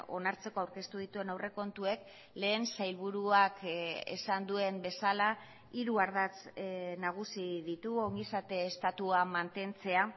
onartzeko aurkeztu dituen aurrekontuek lehen sailburuak esan duen bezala hiru ardatz nagusi ditu ongizate estatua mantentzea